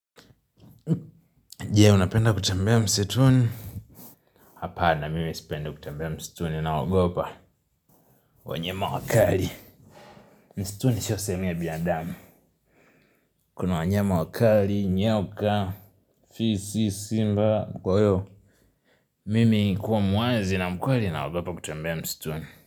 Jee, unapenda kutembea msituni? Hapana, mimi sipendi kutembea msituni naogopa wanyama wakali. Msituni sio sehemu ya binadamu. Kuna wanyama wakali, nyoka, fisi, simba, kwaiyo mimi kuwa mwazi na mkweli naogopa kutembea msituni.